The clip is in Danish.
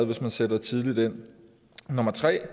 hvis man sætter tidligt ind nummer tre